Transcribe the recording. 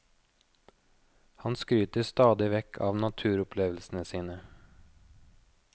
Han skryter stadig vekk av naturopplevelsene sine.